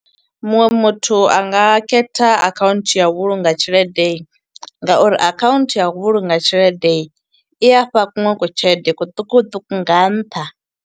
Muṅwe muthu anga khetha akhaunthu ya u vhulunga tshelede nga uri akhaunthu ya u vhulunga tshelede, i afha kuṅwe ku tshelede kuṱukuṱuku nga nṱha.